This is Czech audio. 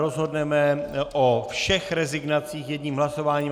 Rozhodneme o všech rezignacích jedním hlasováním.